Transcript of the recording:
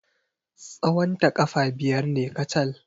Tsawonta ƙafa biyar ne kacal.